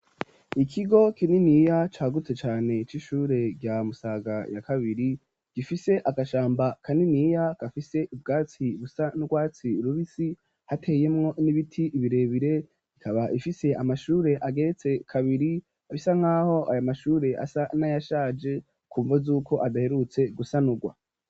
Ikigo kininiya cagutse cane c'ishure rya musaga ya kabiri gifise agashamba kaniniya gafise ibwatsi busa ndwatsi rubisi hateyemwo n'ibiti ibirebire ikaba ifise amashure ageretse kabiri abisa nk'aho aya mashure asa n'ayashaje kumvo z'uko adaheruwe utse gusanugwa.